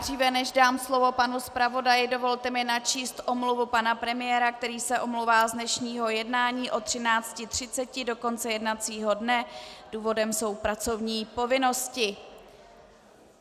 Dříve než dám slovo panu zpravodaji, dovolte mi načíst omluvu pana premiéra, který se omlouvá z dnešního jednání od 13.30 do konce jednacího dne, důvodem jsou pracovní povinnosti.